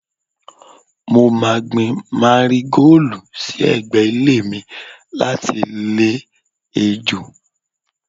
Mo máa gbin Márígóòlù sí ẹ̀gbẹ́ ilé mi láti lé ejò